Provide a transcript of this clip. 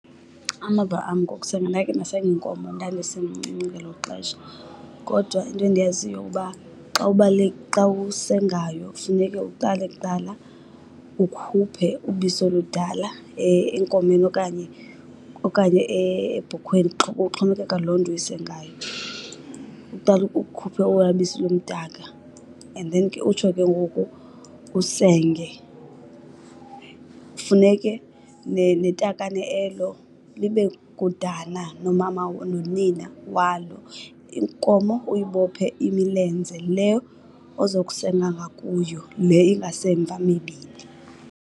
Amava am ngokusenga, ndakhe ndasenga inkomo ndandisemncinci ngelo xesha. Kodwa into endiyaziyo uba xa , xa usengayo funeke uqale kuqala ukhuphe ubisi oludala enkomeni okanye okanye ebhokhweni, kuxhomekeka loo nto uyisengayo. Uqale ukhuphe ola bisi lumdaka and then ke utsho ke ngoku usenge. Funeke netakane elo libe kudana nomama, nonina walo. Inkomo uyibophe imilenze le ozokusenga ngakuyo, le ingasemva mibini.